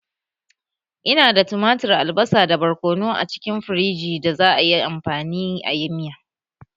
Ina da tumatir, albasa, da barkono a cikin firiji da za'a yi amfani ayi miya